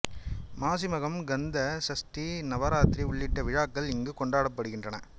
மாசி மகம் கந்த சஷ்டி நவராத்திரி உள்ளிட்ட விழாக்கள் இங்கு கொண்டாடப்படுகின்றன